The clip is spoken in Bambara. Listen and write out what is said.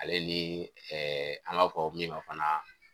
Ale ni ɛɛ an b'a fɔ min ma fana.